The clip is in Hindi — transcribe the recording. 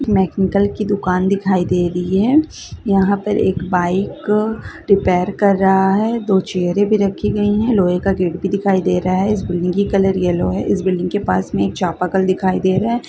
मैकेनिकल की दुकान दिखाई दे रही है यहां पर एक बाइक रिपेयर कर रहा है दो चैयरे भी रखी गई है लोहे का गेट भी दिखाई दे रहा है इस बिल्डिंग की कलर येलो है इस बिल्डिंग के पास में एक चापाकल दिखाई दे रहा है।